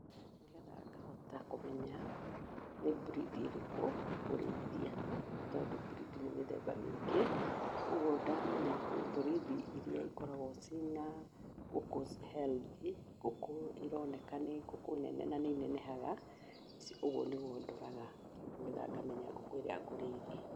Nĩgetha ngahota kũmenya nĩ breed ĩrĩkũ ngũrĩithia nĩ tondũ breed nĩ mĩthemba mĩingĩ. Kogwo ndamenya kwĩ breed irĩa ikoragwo ci na ngũkũ healthy, ngũkũ ironeka nĩ ngũkũ nene na nĩ inenehaga, ũguo nĩguo ndoraga nĩgetha ngamenya ngũkũ ĩrĩa ngũrĩithia.